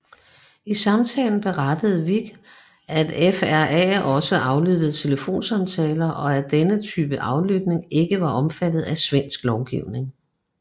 I samtalen berettede Wik at FRA også aflyttede telefonsamtaler og at denne type aflytning ikke var omfattet af svensk lovgivning